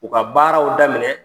U ka baaraw daminɛ.